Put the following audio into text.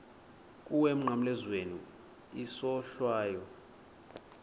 kuwe emnqamlezweni isohlwayo